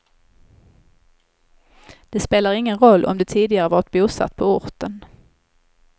Det spelar ingen roll om du tidigare varit bosatt på orten.